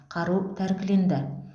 қару тәркіленді